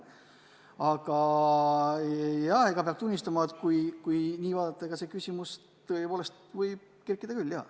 Aga jaa, peab tunnistama, et kui nii vaadata, siis see küsimus tõepoolest võib üles kerkida küll.